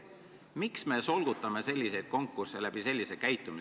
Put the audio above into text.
Miks me solgutame selliseid konkursse ja käitume selliselt?